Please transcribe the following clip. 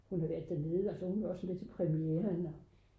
hun har været dernede og så var hun jo også med til premieren